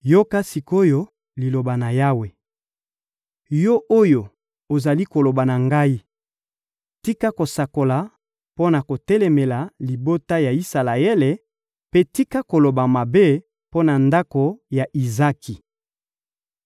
Yoka sik’oyo Liloba na Yawe, yo oyo ozali koloba na ngai: «Tika kosakola mpo na kotelemela libota ya Isalaele mpe tika koloba mabe mpo na ndako ya Izaki!»